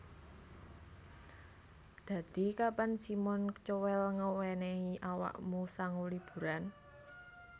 Dadi kapan Simon Cowell ngewenehi awakmu sangu liburan